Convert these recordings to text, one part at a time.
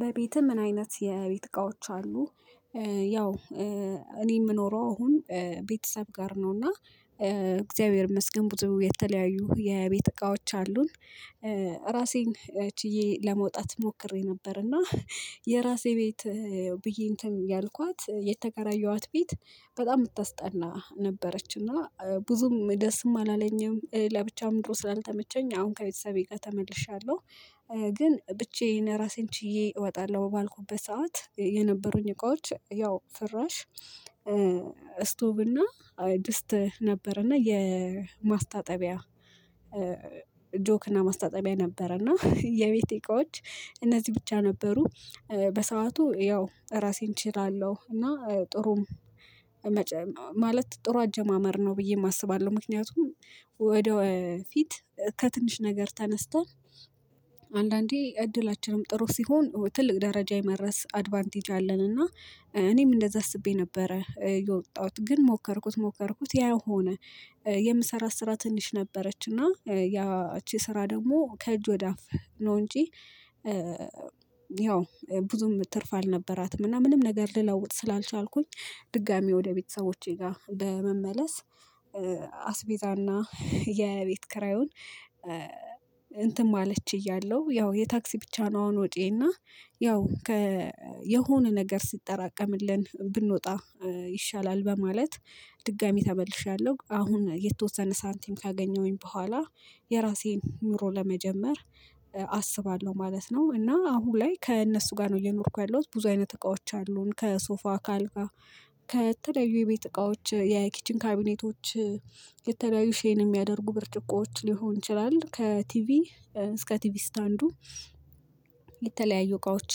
በቤትህ ምን? አይነት የቤት እቃዎች አሉ። ያው እኔ የምኖረው አሁን ቤተሰብ ጋር ነው። እና እግዚአብሔር ይመስገን ብዙ የተለያዩ የቤት እቃዎች አሉን። ራሴን ቺዬ ለመውጣት ሞክሬ ነበርና የራሴ ቤት ብዬ እንትን ያልኳት የተከራየኋት ቤት በጣም የምታስጠላ ነበረች እና ብዙም ደስም አላለኝም። ለብቻም ኑሮ ስላልተመቸኝ አሁን ከቤተሰቤ ጋር ተመልሻለሁ። ግን ብቻዬን ራሴን ችዬ እወጣለሁ ባልኩበት ሰዓት የነበሩኝ እቃዎች ያው ፍራሽ። ስቶቭ እና ድስት ነበረ እና የማስታጠቢያ ጆክ እና ማስታጠቢያ ነበረ። እና የቤቴ እቃዎች እነዚህ ብቻ ነበሩ። በሰአቱ ያው ራሴን እችላለሁ እና ጥሩም ማለት ጥሩ አጀማመር ነው ብዬም አስባለሁ። ምክንያቱም ወደፊት ከትንሽ ነገር ተነስተን አንዳንዴ እድላችንም ጥሩ ሲሆን ትልቅ ደረጃ የመድ ረስ አድቫንቴጅ አለን። እና እኔም እንደዛ አስቤ ነበረ የወጣሁት ግን ሞከርኩት ሞከርኩት ያው ሆነ። የምሰራት ስራ ትንሽ ነበረች እና ያቺ ስራ ደግሞ ከእጅ ወዳፍ ነው እንጂ። ያው ብዙም ትርፍ አልነበራትም። እና ምንም ነገር ልለውጥ ስላልቻልኩኝ ድጋሚ ወደ ቤተሰቦቼ ጋር በመመለስ አስቤዛና የቤት የኪራዩን እንትን ማለት ችያለሁ። ያው የታክሲ ብቻ ነው። አሁን ወጭዬ እና ያው የሆነ ነገር ሲጠራቀምልን ብንወጣ ይሻላል በማለት ድጋሚ ተመልሻለሁ። አሁን የተወሰነ ሳንቲም ካገኘሁኝ በኋላ የራሴን ኑሮ ለመጀመር አስባለሁ ማለት ነው። እና አሁን ላይ ከእነሱ ጋር ነው እየኖርኩ ያለሁት ብዙ አይነት እቃዎች አሉን ከሶፋ ከአልጋ ከተለያዩ የቤት እቃዎች የኪችን ካቢኔቶች የተለያዩ ሼን የሚያደርጉ ብርጭቆዎች ሊሆን ይችላል። ከቲቪ እስከ ቲቪ ስታንዱ የተለያዩ እቃዎች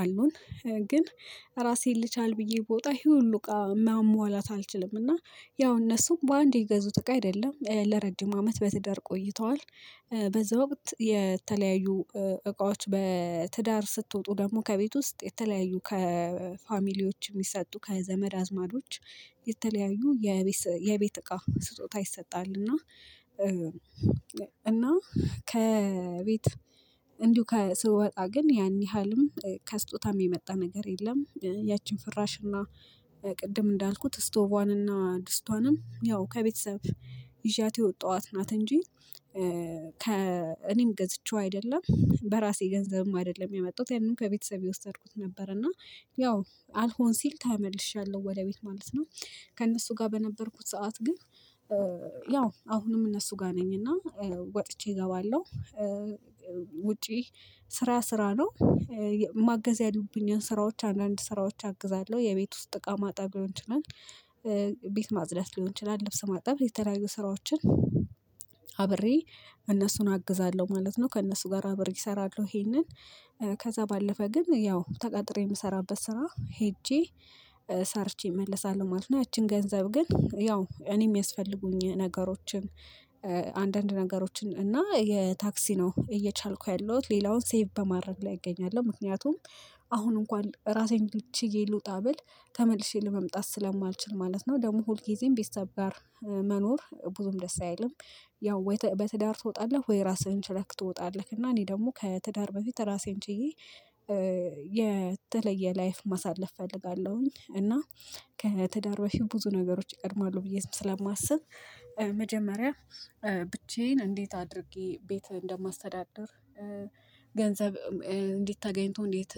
አሉን። ግን ራሴን ልቻል ብዬ ብወጣ ይሄ ሁሉ እቃ ማሟላት አልችልም እና ያው እነሱም በአንዴ የገዙት እቃ አይደለም ለረጅም አመት በትዳር ቆይተዋል። በዛ ወቅት የተለያዩ እቃዎች በትዳር ስትወጡ ደግሞ ከቤት ውስጥ የተለያዩ ከፋሚሊዎች የሚሰጡ ከዘመድ አዝማዶች የተለያዩ የቤት የቤት እቃ ስጦታ ይሰጣል። እና እና ከቤት እንዲሁ ከስወጣ ግን ያን ያህልም ከስጦታም የመጣ ነገር የለም። ያችን ፍራሽና ቅድም እንዳልኩት ስቶቯንና ድስቷንም ያው ከቤተሰብ ይዣት የወጣኋት ናት። እንጂ ከ እኔም ገዝቼው አይደለም በራሴ ገንዘብም አይደለም ያመጣሁት ያንን ከቤተሰቤ የወሰድኩት ነበር። እና ያው አልሆን ሲል ታመልሻለሁ ወደ ቤት ማለት ነው። ከእነሱ ጋር በነበርኩት ሰዓት ግን ያው አሁንም እነሱ ጋር ነኝና ወጥቼ እገባለሁ። ውጪ ስራ ስራ ነው። ማገዝ ያሉብኝን ስራዎች አንዳንድ ስራዎች አግዛለሁ የቤት ውስጥ እቃ ማጠብ ሊሆን ይችላል። ቤት ማጽዳት ሊሆን ይችላል ልብስ ማጠብ የተለያዩ ስራዎችን አብሬ እነሱን አግዛለሁ ማለት ነው። ከእነሱ ጋር አብሬ እሰራለሁ ይሄንን። ከዛ ባለፈ ግን ያው ተቀጥሬ የምሰራበት ስራ ሄጄ ሰርቼ እመለሳለሁ ማለት ነው። እና ይቺን ገንዘብ ግን ያው እኔም የሚያስፈልጉኝን ነገሮችን አንዳንድ ነገሮችን እና የታክሲ ነው እየቻልኩ ያለሁት ሌላውን ሴቭ በማድረግ ላይ እገኛለሁ። ምክንያቱም አሁን እንኳን ራሴን ችዬ ልውጣ ብል ተመልሼ ለመምጣት ስለማልችል ማለት ነው። ደግሞ ሁል ጊዜም ቤተሰብ ጋር መኖር ብዙም ደስ አይልም። ያው በትዳር ትወጣለህ ወይ? ራስህን ችለክ ትወጣለህ እና እኔ ደግሞ ከትዳር በፊት ራሴን ችዬ የተለየ ላይፍ ማሳለፍ እፈልጋለሁኝ። እና ከትዳር በፊት ብዙ ነገሮች ይቀድማሉ ብዬም ስለማስብ። መጀመሪያ ብቻዬን እንዴት አድርጌ ቤት እንደማስተዳድር። ገንዘብ እንዴት ተገኝቶ እንዴት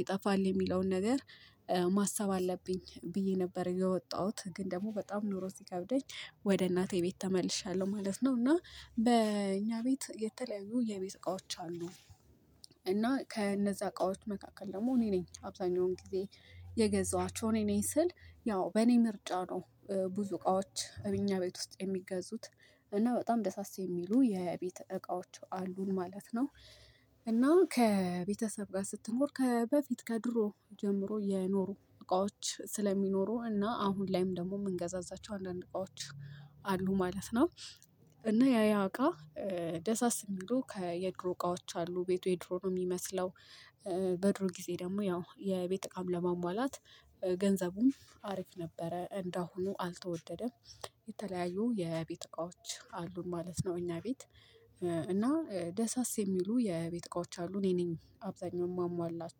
ይጠፋል የሚለውን ነገር ማሰብ አለብኝ ብዬ ነበር። የወጣሁት ግን ደግሞ በጣም ኑሮ ሲከብደኝ ወደ እናቴ ቤት ተመልሻለሁ ማለት ነው። እና በእኛ ቤት የተለያዩ የቤት እቃዎች አሉ። እና ከእነዛ እቃዎች መካከል ደግሞ እኔ ነኝ አብዛኛውን ጊዜ የገዛኋቸው እኔ ነኝ ስል ያው በእኔ ምርጫ ነው። ብዙ እቃዎች እኛ ቤት ውስጥ የሚገዙት እና በጣም ደሳስ የሚሉ የቤተ እቃዎች አሉን ማለት ነው። እና ከቤተሰብ ጋር ስትኖር ከበፊት ከድሮ ጀምሮ የኖሩ እቃዎች ስለሚኖሩ እና አሁን ላይም ደግሞ የምንገዛዛቸው አንዳንድ እቃዎች አሉ ማለት ነው። እና ያ ያ እቃ ደሳስ የሚሉ ከየድሮ እቃዎች አሉ ቤቱ የድሮ ነው የሚመስለው። በድሮ ጊዜ ደግሞ ያው የቤት እቃም ለማሟላት ገንዘቡም አሪፍ ነበረ እንደ አሁኑ አልተወደደም። የተለያዩ የቤት እቃዎች አሉን ማለት ነው እኛ ቤት እና ደሳስ የሚሉ የቤት እቃዎች አሉ እኔ ነኝ አብዛኛውን ማሟላቸው